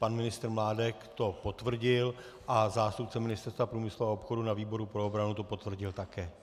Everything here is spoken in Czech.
Pan ministr Mládek to potvrdil a zástupce Ministerstva průmyslu a obchodu na výboru pro obranu to potvrdil také.